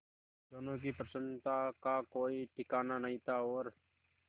दोनों की प्रसन्नता का कोई ठिकाना नहीं था और